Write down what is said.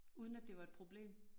Uden at det var et problem